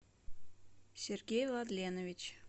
сергей владленович